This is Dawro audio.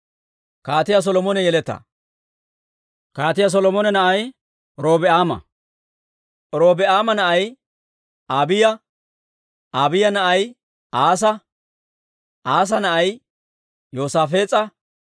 Kaatiyaa Solomone na'ay Robi'aama; Robi'aama na'ay Abiiya; Abiiya na'ay Asaa; Asaa na'ay Yoosaafees'a;